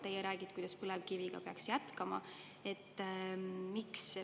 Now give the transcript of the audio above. Teie räägite, et põlevkivi peaks jätkama.